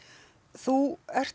þú ert